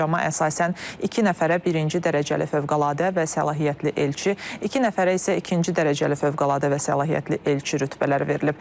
Sərəncama əsasən iki nəfərə birinci dərəcəli fövqəladə və səlahiyyətli elçi, iki nəfərə isə ikinci dərəcəli fövqəladə və səlahiyyətli elçi rütbələri verilib.